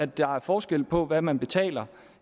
der er forskel på hvad man betaler